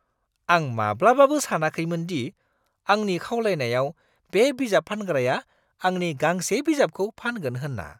आं माब्लाबाबो सानाखैमोन दि आंनि खावलायनायाव बे बिजाब फानग्राया आंनि गांसे बिजाबखौ फानगोन होन्ना!